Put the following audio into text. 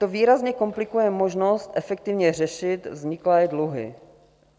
To výrazně komplikuje možnost efektivně řešit vzniklé dluhy.